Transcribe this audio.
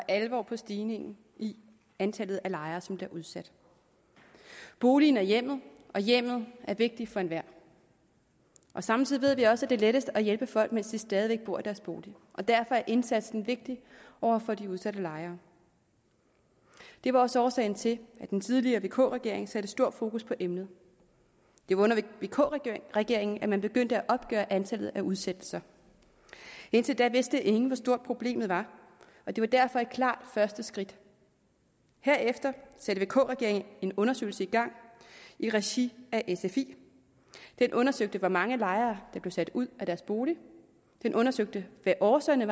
og alvor på stigningen i antallet af lejere som bliver udsat boligen er hjemmet og hjemmet er vigtigt for enhver samtidig ved vi også at det er lettest at hjælpe folk mens de stadig væk bor i deres bolig og derfor er indsatsen vigtig over for de udsatte lejere det var også årsagen til at den tidligere vk regering satte stort fokus på emnet det var under vk regeringen at man begyndte at opgøre antallet af udsættelser indtil da vidste ingen hvor stort problemet var og det var derfor et klart første skridt herefter satte vk regeringen en undersøgelse i gang i regi af sfi den undersøgte hvor mange lejere der blev sat ud af deres bolig den undersøgte hvad årsagerne